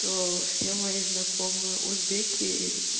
то все мои знакомые узбеки